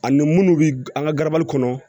Ani munnu bɛ an ka garabali kɔnɔ